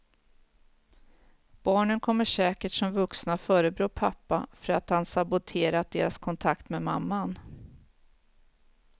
Barnen kommer säkert som vuxna förebrå pappan för att han saboterat deras kontakt med mamman.